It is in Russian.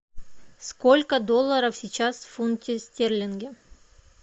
сколько долларов сейчас в фунте стерлинге